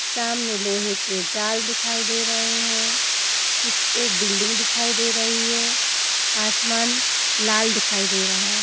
सामने लोहे के जाल दिखाई दे रहें हैं | कुछ एक बिल्डिंग दिखाई दे रही है | आसमान लाल दिखाई दे रहा है ।